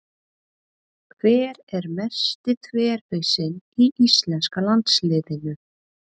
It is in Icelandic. Hver er mesti þverhausinn í íslenska landsliðinu?